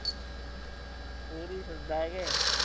ਪੂਰੀ ਸੁਣਦਾ